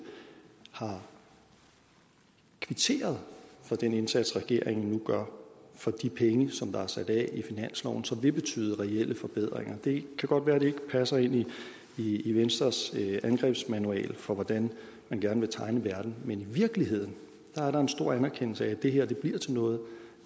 har kvitteret for den indsats regeringen nu gør for de penge som der er sat af i finansloven og som vil betyde reelle forbedringer det kan godt være at det ikke passer ind i i venstres angrebsmanual for hvordan man gerne vil tegne verden men i virkeligheden er der en stor anerkendelse af at det her bliver til noget